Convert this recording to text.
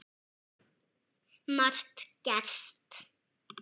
Margt gerst.